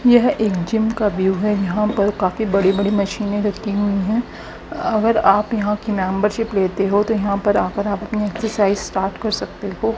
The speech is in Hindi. यह एक जिम का व्यू है यहां पर काफी बड़ी-बड़ी मशीने रखी हुई है अगर आप यहां की मेंबरशिप लेते हो तो यहां पर आकर आप अपनी एक्सरसाइज स्टार्ट कर सकते हो।